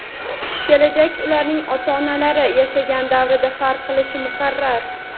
kelajak ularning ota-onalari yashagan davrdan farq qilishi muqarrar.